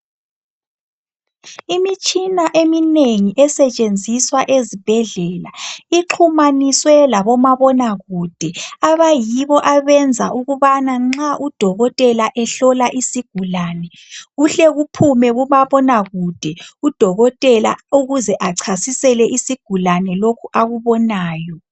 Imitshina eminengi esetshenziswa ezibhedlela ixhumaniswe labomabonakude abayibo abenza ukubana nxa udokotela ehlola isigulane kuhle kuphume kumabonakude udokotela ukuze achasisele isigulane lokhu akubonayo.